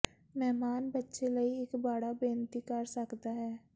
ਮਹਿਮਾਨ ਬੱਚੇ ਲਈ ਇੱਕ ਬਾੜਾ ਬੇਨਤੀ ਕਰ ਸਕਦਾ ਹੈ